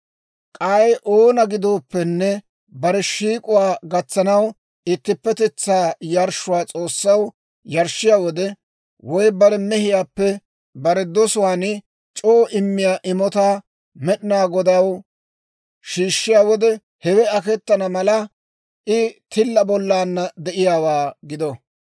« ‹K'ay oona gidooppenne bare shiik'k'owaa gatsanaw ittippetetsaa yarshshuwaa S'oossaw yarshshiyaa wode, woy bare mehiyaappe bare dosuwaan c'oo immiyaa imotaa Med'inaa Godaw shiishshiyaa wode, hewe aketana mala I tilla bollaanna de'iyaawaa gido.